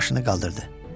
Başını qaldırdı.